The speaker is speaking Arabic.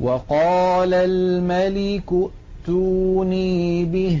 وَقَالَ الْمَلِكُ ائْتُونِي بِهِ ۖ